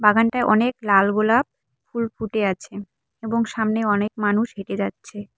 বাগানটায় অনেক লাল গোলাপ ফুল ফুটে আছে এবং সামনে অনেক মানুষ হেঁটে যাচ্ছে।